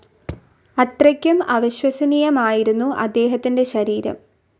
അത്രയ്ക്കും അവിശ്വസനീയമായിരുന്നു അദ്ദേഹത്തിന്റെ ശരീരം.